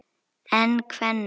En kvenna?